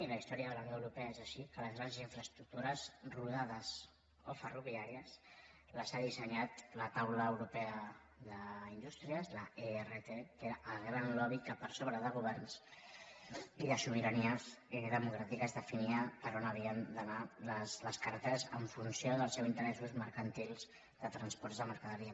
i la història de la unió europea és així que les grans infraestructures rodades o ferroviàries les ha dissenyat la taula europea d’indústries l’ert que era el gran lobby que per sobre de governs i de sobiranies democràtiques definia per on havien d’anar les carreteres en funció dels seus interessos mercantils de transports de mercaderia